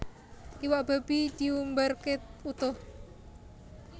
Iwak babi diumbarke utuh